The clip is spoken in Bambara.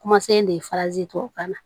Kumasen de farazi tubabu kan na